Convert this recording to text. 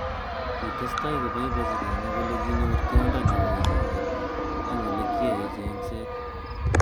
Kitestai koboiboji kenya kole kinyor tiondo neo icheket eng olekiyai chengset.